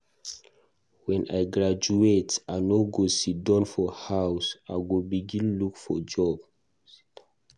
Wen I graduate, I no go siddon for house, I go begin look for job.